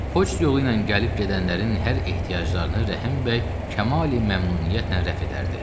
Poçt yolu ilə gəlib-gedənlərin hər ehtiyaclarını Rəhim bəy kamali-məmnuniyyətlə rəf edərdi.